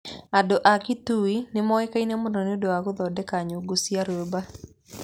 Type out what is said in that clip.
Andũ a Kitui nĩ moĩkaine mũno nĩ ũndũ wa gũthondeka nyũngu cia rĩũmba.